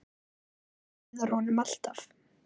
Treysti Viðar honum alltaf?